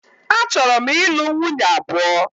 A chọrọ m ị lụ nwunye abụọ.